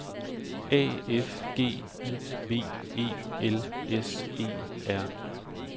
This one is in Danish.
A F G I V E L S E R